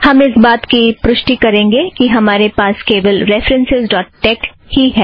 हम इस बात की पुष्टि करेंगे कि हमरे पास केवल रेफ़रन्सस् ड़ॉट टेक ही है